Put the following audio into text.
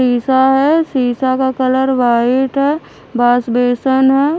शीशा है शीशा का कलर व्हाइट है बास बेसन है।